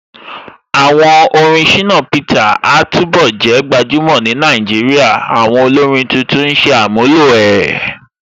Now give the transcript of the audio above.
Àwọn orin Shina Peter a túnbọ̀ jẹ́ gbajúmọ̀ ni Nàìjíríà, àwọn olórin títún ó ṣe àmúlò ẹ̀.